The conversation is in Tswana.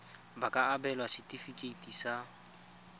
ba ka abelwa setefikeiti sa